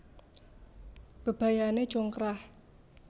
Bebayané congkrah